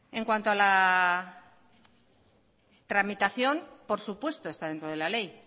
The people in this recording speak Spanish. en cuanto a la tramitación por supuesto está dentro de la ley